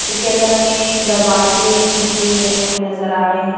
इसके अंदर हमें अ दरवाजे खिड़की बने हुए नजर आ रहे हैं।